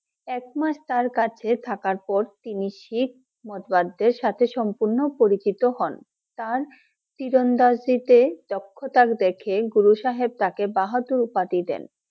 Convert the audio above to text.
এক মাস তার কাছে থাকার পর তিনি শিখ মত বাদীদের সাথে সম্পূর্ণ পরিচিত হন। তার তীরন্দাজিতে দক্ষতা দেখে গুরু সাহেব তাকে বাহাদুর উপাধি দেন ।